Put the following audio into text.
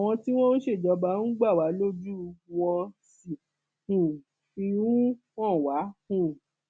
àwọn tí wọn ń ṣèjọba ń gbà wá lójú wọn sì um fi ń hàn wá um